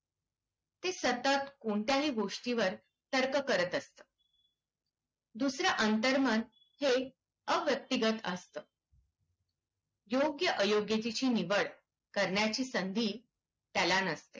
ते सतत कोणत्याही गोष्टीवर तर्क करत असतं. दुसरं अंतर्मन हे अव्यक्तिगत असतं. योग्यअयोग्याची निवड करण्याची संधी त्याला नसते.